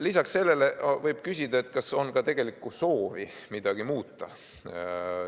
Lisaks sellele võib küsida, kas selle algatusega on ka tegelikku soovi midagi muuta.